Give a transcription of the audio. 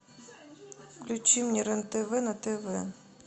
включи мне рен тв на тв